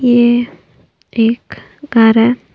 ये एक घर है।